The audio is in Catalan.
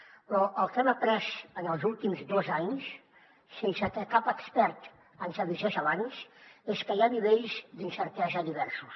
però el que hem après en els últims dos anys sense que cap expert ens avisés abans és que hi ha nivells d’incertesa diversos